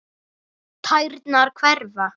Tærnar hverfa.